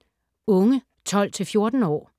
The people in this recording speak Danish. Unge 12-14 år